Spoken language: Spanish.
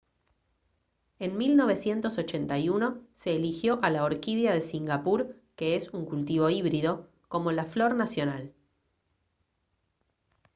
en 1981 se eligió a la orquídea de singapur que es un cultivo híbrido como la flor nacional